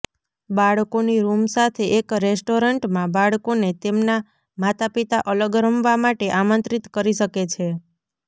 બાળકોની રૂમ સાથે એક રેસ્ટોરન્ટમાં બાળકોને તેમના માતાપિતા અલગ રમવા માટે આમંત્રિત કરી શકે છે